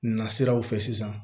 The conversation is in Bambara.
Na siraw fɛ sisan